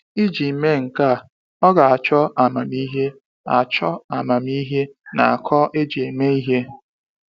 Iji mee nke a, ọ ga achọ amamihe achọ amamihe na akọ eji eme ihe.